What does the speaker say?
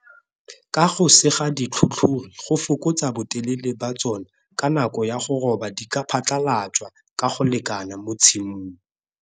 Ka go sega ditlhotlhori go fokotsa botelele ba tsona ka nako ya go roba di ka phatlhalatswa ka go lekana mo tshimong.